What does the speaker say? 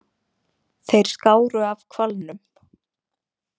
Þeir skáru af hvalnum.